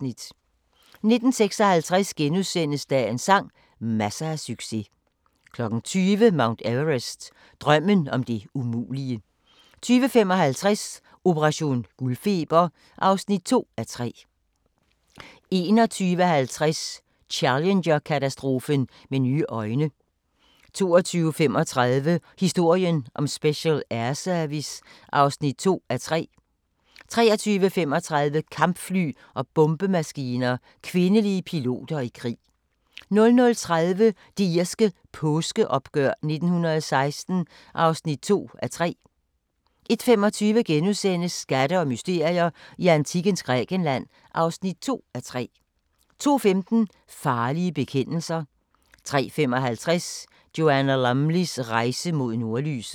19:56: Dagens sang: Masser af succes * 20:00: Mount Everest – Drømmen om det umulige 20:55: Operation guldfeber (2:3) 21:50: Challenger-katastrofen med nye øjne 22:35: Historien om Special Air Service (2:3) 23:35: Kampfly og bombemaskiner – kvindelige piloter i krig 00:30: Det irske påskeoprør 1916 (2:3) 01:25: Skatte og mysterier i antikkens Grækenland (2:3)* 02:15: Farlige bekendelser 03:55: Joanna Lumleys rejse mod nordlyset